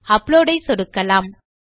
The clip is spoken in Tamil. அப்லோட் ஐ சொடுக்கலாம்